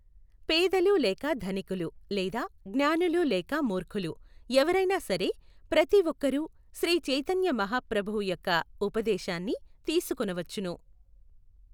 పేదలు లేక ధనికులు లేదా జ్ఞానులు లేక మూర్ఖులు, ఎవరైనా సరే ప్రతి ఒక్కరూ శ్రీ చైతన్య మహా ప్రభువు యొక్క ఉపదేశాన్ని తీసుకొనవచ్చును.